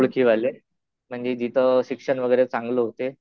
ओळखीवाले. म्हणजे तिथं शिक्षण वगैरे चांगलं होते.